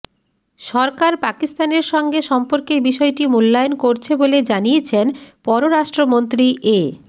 সরকার পাকিস্তানের সঙ্গে সম্পর্কের বিষয়টি মূল্যায়ন করছে বলে জানিয়েছেন পররাষ্ট্রমন্ত্রী এ